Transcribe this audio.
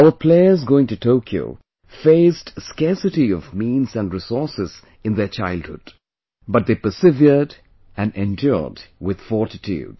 Our players going to Tokyo faced scarcity of means and resources in their childhood, but they persevered, and endured with fortitude